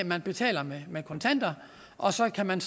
man betaler med med kontanter og så kan man